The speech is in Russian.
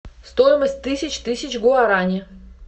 стоимость тысяч тысяч гуарани